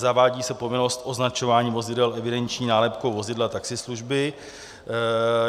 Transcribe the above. Zavádí se povinnost označování vozidel evidenční nálepkou vozidla taxislužby.